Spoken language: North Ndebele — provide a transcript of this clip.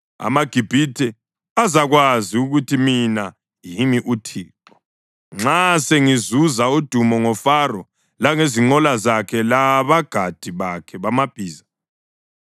AmaGibhithe azakwazi ukuthi mina yimi uThixo nxa sengizuza udumo ngoFaro, langezinqola zakhe labagadi bakhe bamabhiza.”